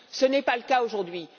Ce n'est pas le cas aujourd'hui.